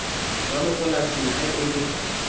ya mapoleseng ha e le